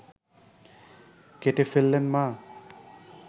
কেটে ফেললেন মা